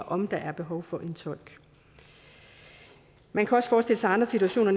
om der er behov for en tolk man kan også forestille sig andre situationer